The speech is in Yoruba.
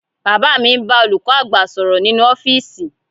Bàbá mi ń bá olùkọ́ àgbà sọ̀rọ̀ nínú ọ́fíìsì